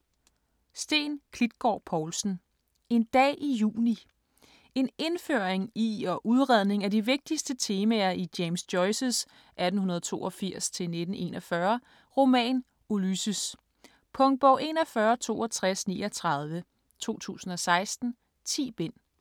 Klitgård Povlsen, Steen: En dag i juni En indføring i og udredning af de vigtigste temaer i James Joyces (1882-1941) roman Ulysses. Punktbog 416239 2016. 10 bind.